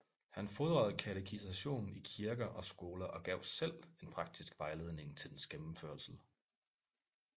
Han fordrede katekisation i kirker og skoler og gav selv en praktisk vejledning til dens gennemførelse